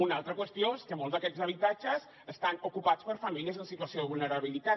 una altra qüestió és que molts d’aquests habitatges estan ocupats per famílies en situació de vulnerabilitat